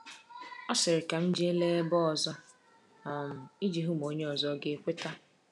O sịrị, “Ka m jee lee ebe ọzọ,” um iji hụ ma onye ọzọ ọga ekweta.